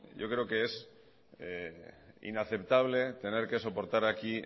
yo creo que es inaceptable tener que soportar aquí